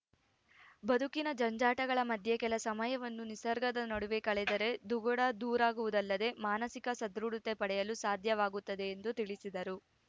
ಬದುಕಿನ ಜಂಜಾಟಗಳ ಮಧ್ಯೆ ಕೆಲ ಸಮಯವನ್ನು ನಿಸರ್ಗದ ನಡುವೆ ಕಳೆದರೆ ದುಗಡ ದೂರಾಗುವದಲ್ಲದೇ ಮಾನಸಿಕ ಸದೃಢತೆ ಪಡೆಯಲು ಸಾಧ್ಯವಾಗುತ್ತದೆ ಎಂದು ತಿಳಿಸಿದರು